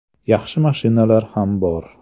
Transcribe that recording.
Yaxshi mashinalar ham bor.